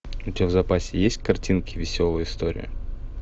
у тебя в запасе есть картинки веселые истории